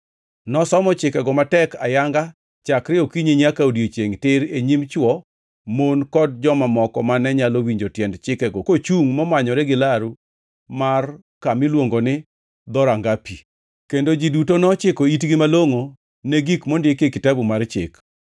Nosomo chikego matek ayanga chakre okinyi nyaka odiechiengʼ tir e nyim chwo, mon kod joma moko mane nyalo winjo tiend chikego kochungʼ momanyore gi laru mar ka miluongo ni Dhoranga Pi. Kendo ji duto nochiko itgi malongʼo ne gik mondikie Kitabu mar Chik.